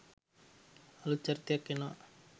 අලුත් චරිතයක් එනවා.